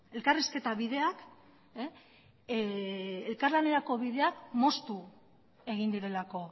elkarrizketa bideak elkar lanerako bideak moztu egin direlako